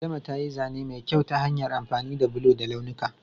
Adama ta yi zane mai kyau ta hanyar amfani da bulo da launuka.